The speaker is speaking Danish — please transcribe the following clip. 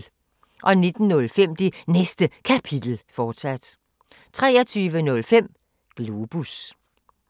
19:05: Det Næste Kapitel, fortsat 23:05: Globus